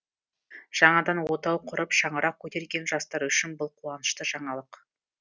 жаңадан отау құрып шаңырақ көтерген жастар үшін бұл қуанышты жаңалық